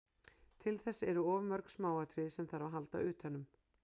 Til þess eru of mörg smáatriði sem þarf að halda utanum.